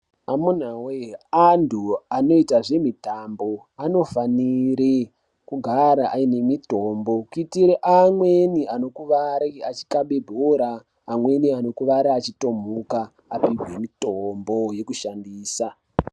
Amunawe antu anoita zvemitambo anofanire kugara aine mitombo kuitira amweni anokuwara achikhabe bhora, amweni anokuwara echitomuka anopihwe mitombo yekushandisa.